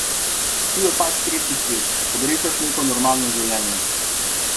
Tu je pa pač tretji svet, pogrešaš neko normalno življenje.